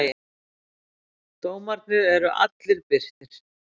dómarnir eru allir birtir